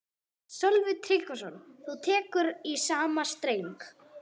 Sölvi Tryggvason: Þú tekur í sama streng?